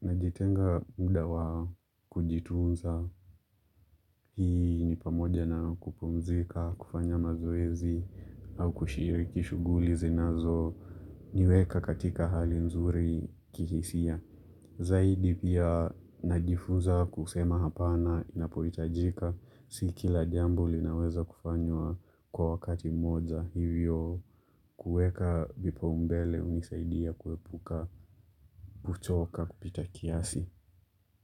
najitenga muda wa kujitunza, hii ni pamoja na kupumzika, kufanya mazoezi, au kushiriki shughuli zinazoniweka katika hali nzuri kihisia. Zaidi pia najifunza kusema hapana inapohitajika. Si kila jambo linaweza kufanywa kwa wakati mmoja hivyo, kuweka vipaumbele hunisaidia kuepuka kuchoka kupita kiasi.